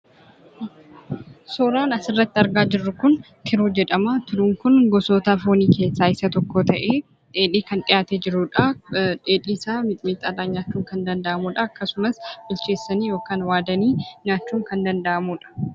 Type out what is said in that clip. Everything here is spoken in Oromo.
Suuraan asirratti argaa jirru kun, tiruu jedhama. Tiruun Kun gosoota foonii keessaa isa tokko ta'ee dheedhii kan dhihaatee jirudha. Dheedhii isaa mixmixxaadhaaan nyaachuun kan danda'amudha akkasumas bilcheessanii yookiin waadanii nyaachuun kan danda'amudha.